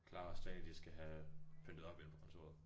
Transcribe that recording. Klara og Stage de skal have pyntet op inde på kontoret